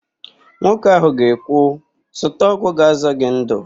Nwoke ahụ ga-ekwu, "zụta ọgwụ ga-azọ gị ndụ"!